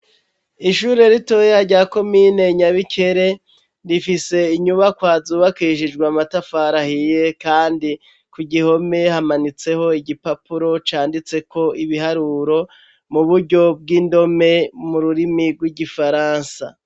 Ishure ritoya ryako mine nyabikere rifise inyubakwazubakishijwe amatafarahiye, kandi ku gihome hamanitseho igipapuro canditseko ibiharuro mu buryo bw'indome mu rurimi rw'igifaransa.